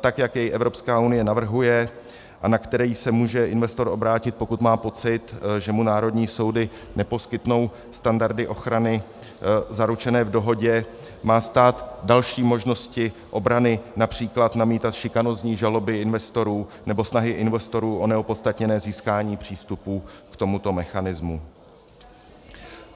tak jak jej Evropská unie navrhuje a na který se může investor obrátit, pokud má pocit, že mu národní soudy neposkytnou standardy ochrany zaručené v dohodě, má stát další možnosti obrany, například namítat šikanózní žaloby investorů nebo snahy investorů o neopodstatněné získání přístupu k tomuto mechanismu.